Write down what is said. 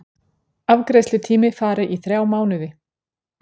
Afgreiðslutími fari í þrjá mánuði